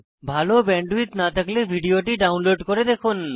ভাল ব্যান্ডউইডথ না থাকলে ভিডিওটি ডাউনলোড করে দেখুন